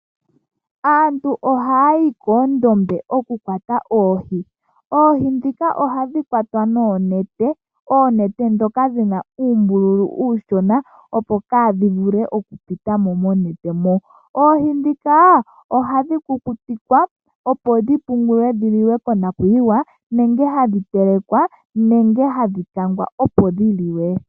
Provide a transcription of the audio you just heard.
Aantu ohayayi koondombe okukwata oohi, oohi ndhika ohadhi kwatwa noonete. Oonete ndhoka dhina uumbululu uushona opo kaadhi vule okupitamo monete mo. Oohi ndhika ohadhi kukutikwa ,opo dhi pungulwe dhi liwe konakuyiwa, nenge hadhi telekwa, nenge hadhi kangwa opo dhi liwe.